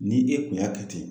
Ni e kun y'a kɛ ten